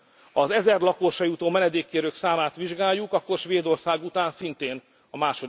Ha az ezer lakosra jutó menedékkérők számát vizsgáljuk, akkor Svédország után szintén